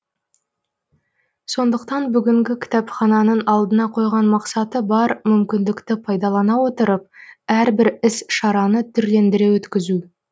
сондықтан бүгінгі кітапхананың алдына қойған мақсаты бар мүмкіндікті пайдалана отырып әрбір іс шараны түрлендіре өткізу